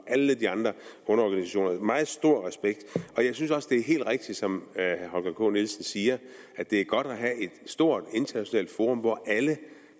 alle de andre underorganisationer og jeg synes også det er helt rigtigt som herre holger k nielsen siger at det er godt at have et stort internationalt forum hvor alle